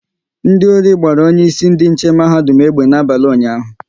Ndị ori gbara onye isi ndị nche mahadum egbe n'abalị ụnyaahụ